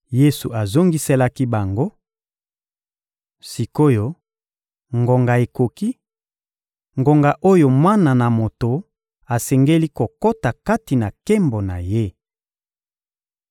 Yesu azongiselaki bango: — Sik’oyo, ngonga ekoki, ngonga oyo Mwana na Moto asengeli kokota kati na nkembo na Ye.